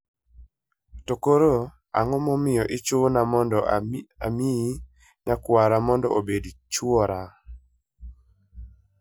To koro, ang'o momiyo ichuna mondo amiyi nyakwara mondo obed chwora?